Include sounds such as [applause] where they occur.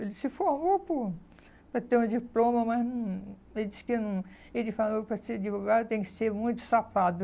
Ele se formou por para ter um diploma, mas hum ele disse que hum ele falou que para ser advogado tem que ser muito. [unintelligible]